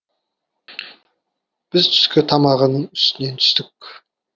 біз түскі тамағының үстінен түстік